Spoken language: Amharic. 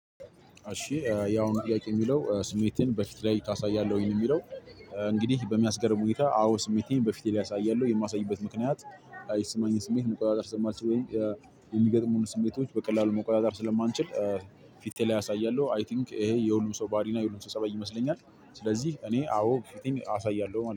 እሺ ያሁኑ ጥያቄ የሚለው ስሜትህን በፊት ላይ ታሳያለህ? የሚለው እንግዲህ በሚያስገርም ሁኔታ አዎ ስሜቴን በፊቴ ላይ አሳያለሁ። የማሳይበት ምክንያት የሚሰማኝን ስሜት መቆጣጠር ስለማልችል ወይ የሚገጥሙኝን ስሜቶች በቀላሉ መቆጣጠር ስለማልችል ፊቴ ላይ አሳያለሁ። አይ ቲንክ ይሄ የሁሉም ሰው ባህሪና የሁሉም ሰው ፀበይ ይመስለኛል። ስለዚህ እኔ አዎ ፊቴን አሳያለሁ ማለት ነው።